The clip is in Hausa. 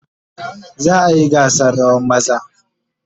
Za a yi gasa rawan maza?